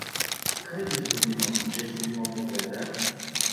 Kaj izgubimo, če izgubimo Poglede?